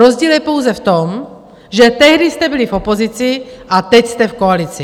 Rozdíl je pouze v tom, že tehdy jste byli v opozici a teď jste v koalici.